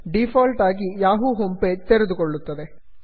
default ಆಗಿ Yahoo home page ತೆರೆದುಕೊಳ್ಳುತ್ತದೆ